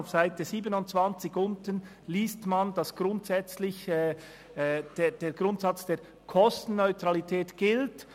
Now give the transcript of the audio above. Auf Seite 27 unten liest man, dass der Grundsatz der Kostenneutralität gilt.